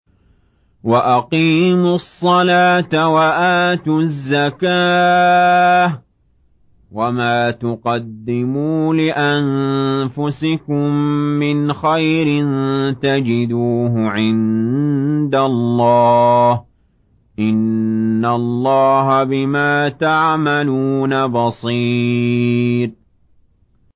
وَأَقِيمُوا الصَّلَاةَ وَآتُوا الزَّكَاةَ ۚ وَمَا تُقَدِّمُوا لِأَنفُسِكُم مِّنْ خَيْرٍ تَجِدُوهُ عِندَ اللَّهِ ۗ إِنَّ اللَّهَ بِمَا تَعْمَلُونَ بَصِيرٌ